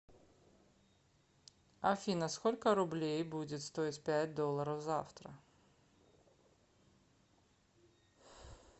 афина сколько рублей будет стоить пять долларов завтра